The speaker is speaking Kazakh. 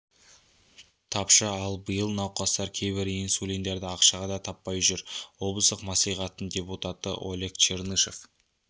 тапшы ал биыл науқастар кейбір инсулиндерді ақшаға да таппай жүр облыстық маслихаттың депутаты олег чернышов